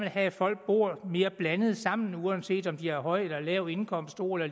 have at folk bor mere blandet sammen uanset om de har høj eller lav indkomst stor